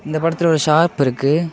இந்தப் படத்துல ஒரு ஷாப் இருக்கு.